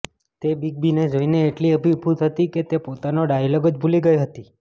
તે બિગ બીને જોઇને એટલી અભિભૂત હતી કે તે પોતાના ડાયલોગ જ ભૂલી ગઇ હતી